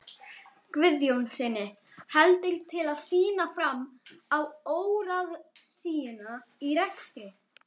Guðjónssyni heldur til að sýna fram á óráðsíuna í rekstri